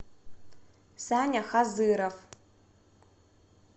саня хазыров